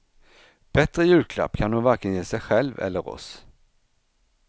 Bättre julklapp kan hon varken ge sig själv eller oss.